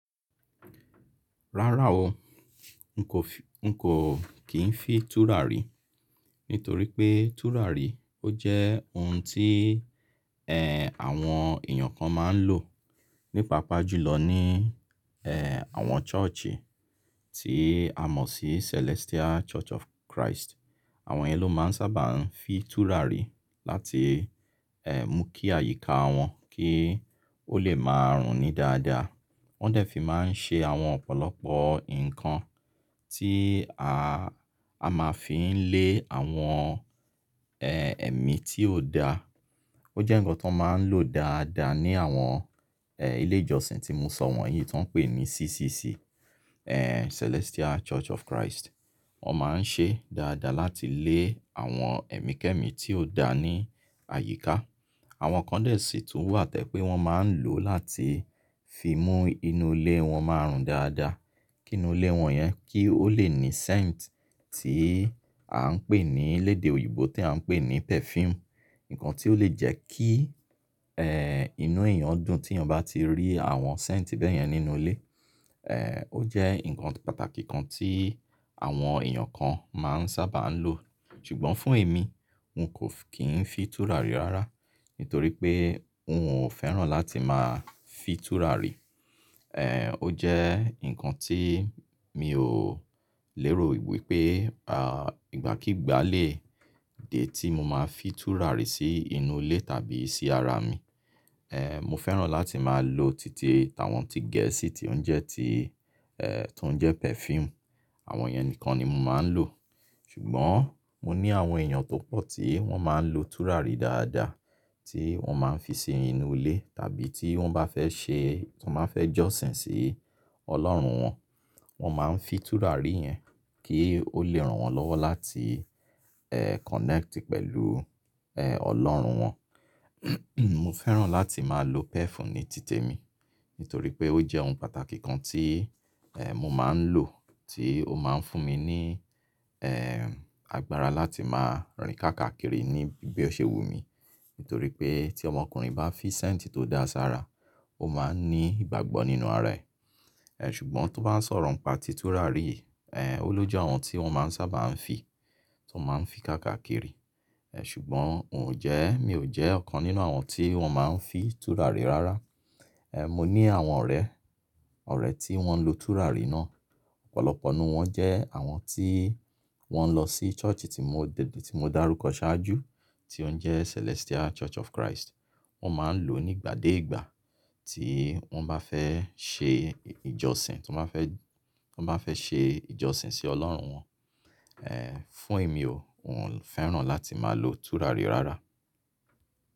Rárá o, n kò fi, n kò kí n fi tùràrí, nítorí pé tùràrí ó jẹ́ ohun tí, eh, àwọn èèyàn kan máa ń lò, ní paapa jùlọ ní, eh, àwọn church, tí a mọ̀ sí Celestial Church of Christ. Àwọn yẹn ló máa ń sábà ń fi tùràrí láti, eh, mú kí àyíká wọ́n kí ó le máa rùn ní dáadáa. Wọ́n dẹ̀ fi máa ń ṣe àwọn ọ̀pọ̀lọpọ̀ nǹkan tí a, a máa fi ń lé àwọn, eh, ẹ̀mí tí ò da. Ó jẹ́ ǹkan to n máa ń lò dáadáa ní àwọn, eh, ilé ìjọsìn tí mo sọ wọ̀nyí tó ń pè ní CCC, eh, Celestial Church of Christ. Wọ́n máa ń ṣe dáadáa láti lé àwọn ẹ̀mí kẹ́mí tí ò da ní àyíká. Àwọn kan dẹ̀ sì tún wà to je pé wọ́n máa ń lò láti fi mú inú ilé wọ́n máa rùn dáadáa. Kí inú ilé wọn yẹn kí ó le ní scent tí à ń pè ní lédè òyìnbó tí à ń pè ní perfume. Ǹkan tí ó le jẹ́ kí, eh, inú èèyàn dùn tí èèyàn bá ti rí àwọn scent bẹ́yẹn nínú ilé. Eh, ó jẹ́ ǹkan pàtàkì kan tí àwọn èèyàn kan máa ń sábà ń lò. Ṣùgbọ́n fún èmi, n kò kí ń fi tùràrí rárá, nítorí pé n ò fẹ́ràn láti máa fi tùràrí. Eh, ó jẹ́ ǹkan tí mi ò lérò wípé, ah, ìgbà kígba lè dé tí mo máa fi tùràrí sí inú ilé tàbí sí ara mi. Eh, mo fẹ́ràn láti máa lo títi, àwọn tí gẹ̀ẹ́sì tí ó ń jẹ́ ti, eh, tó ń jẹ́ perfume. Àwọn yẹn nìkan ni mo máa ń lò. Ṣùgbọ́n mo ní àwọn èèyàn tó pọ̀ tí wọ́n máa ń lo tùràrí dáadáa, tí wọ́n máa ń fi ṣe inú ilé tàbí tí wọ́n bá fẹ́ ṣe, tí wọ́n bá fẹ́ jọ́sìn sí Ọlọ́run wọn, wọ́n máa ń fi tùràrí yẹn kí ó lè ran wọ́n lọ́wọ́ láti, eh, connect pẹ̀lú, eh, Ọlọ́run wọn. Mo fẹ́ràn láti máa lo perf ní títe mi, nítorí pé ó jẹ́ ohun pàtàkì kan tí, eh, mo máa ń lò tí ó máa ń fún mi ní, eh, agbára láti máa rìn káàkakiri ní bí ó ṣe wù mí. Nítorí pé tí ọmọkùnrin bá fi scent tó dáa sára, ó máa ń ní ìgbàgbọ́ nínú ara ẹ̀. Eh, ṣùgbọ́n tó bá ń sọ̀rọ̀ ń pa tí tùràrí yìí, eh, ó lóju awon tí wọ́n máa ń sáabà ń fi, tí wọ́n máa ń fi káàkiri. Eh, ṣùgbọ́n un ò jẹ́, mi ò jẹ́ ọ̀kan nínú àwọn tí wọ́n máa ń fi tùràrí rárá. Eh, mo ní àwọn ọ̀rẹ́, ọ̀rẹ́ tí wọ́n lo tùràrí náà. Ọ̀pọ̀lọpọ̀ nínú wọ́n jẹ́ àwọn tí wọ́n lọ sí church tí mo, ti mo dárúkọ ṣáájú tí ó ń jẹ́ Celestial Church of Christ. Wọ́n máa ń lò ó nígbà dé ìgbà tí wọ́n bá fẹ́ ṣe ìjọsìn, tí wọ́n bá fẹ́, tí wọ́n bá fẹ́ ṣe ìjọsìn sí Ọlọ́run wọn. Eh, fún èmi o, n ò fẹ́ràn láti máa lo tùràrí rárá.